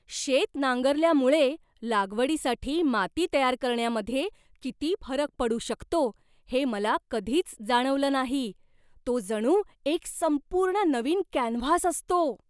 शेत नांगरल्यामुळे लागवडीसाठी माती तयार करण्यामध्ये किती फरक पडू शकतो हे मला कधीच जाणवलं नाही. तो जणू एक संपूर्ण नवीन कॅनव्हास असतो!